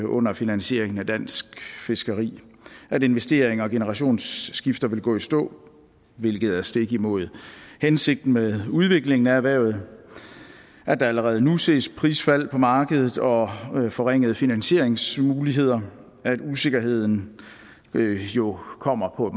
under finansieringen af dansk fiskeri at investeringer og generationsskifter vil gå i stå hvilket er stik imod hensigten med udviklingen af erhvervet at der allerede nu ses prisfald på markedet og forringede finansieringsmuligheder at usikkerheden jo kommer på